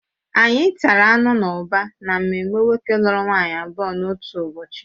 Anyị tata anụ n'ụba n'ememe nwoke lụrụ nwaanyị abụọ n'otu ụbọchị